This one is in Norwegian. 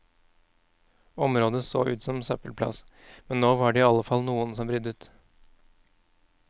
Området så ut som søppelplass, men nå var det i alle fall noen som ryddet.